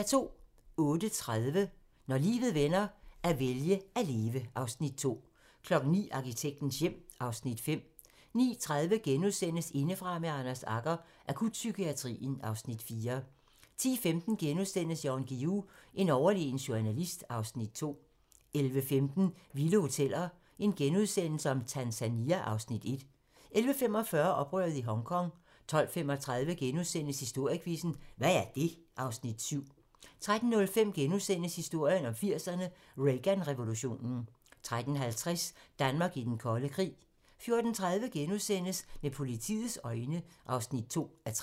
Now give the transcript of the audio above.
08:30: Når livet vender - at vælge at leve (Afs. 2) 09:00: Arkitektens hjem (Afs. 5) 09:30: Indefra med Anders Agger - Akutpsykiatrien (Afs. 4)* 10:15: Jan Guillou - en overlegen journalist (Afs. 2)* 11:15: Vilde Hoteller - Tanzania (Afs. 1)* 11:45: Oprøret i Hongkong 12:35: Historiequizzen: Hvad er det? (Afs. 7)* 13:05: Historien om 80'erne: Reagan-revolutionen * 13:50: Danmark i den kolde krig 14:30: Med politiets øjne (2:3)*